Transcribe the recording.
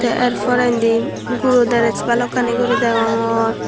tey yer porendi guro dress balukani deongor.